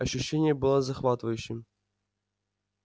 ощущение было захватывающим